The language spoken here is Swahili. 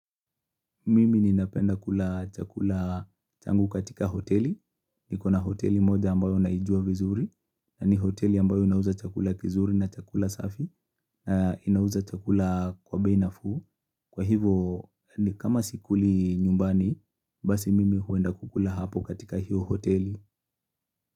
Mimi ninapenda kula chakula changu katika hoteli. Nikona hoteli moja ambayo naijua vizuri. Na ni hoteli ambayo inauza chakula kizuri na chakula safi. Na inauza chakula kwa bei nafuu. Kwa hivo, kama sikuli nyumbani, basi mimi huenda kukula hapo katika hiyo hoteli.